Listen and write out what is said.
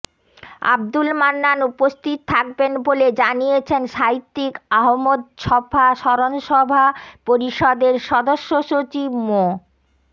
আবদুল মান্নান উপস্থিত থাকবেন বলে জানিয়েছেন সাহিত্যিক আহমদ ছফা স্মরণসভা পরিষদের সদস্য সচিব মো